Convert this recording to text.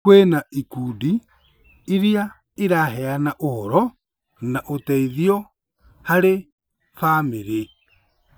Kwĩna ikundi irĩa iraheana ũhoro na ũteithio harĩ bamĩrĩ